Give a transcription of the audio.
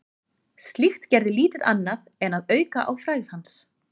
Slíkt gerði lítið annað en að auka á frægð hans.